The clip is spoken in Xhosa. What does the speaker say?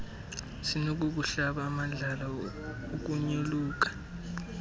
sinokukuhlaba amadlala ukunyoluka